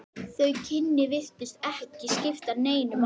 Þau kynni virtust ekki skipta neinu máli.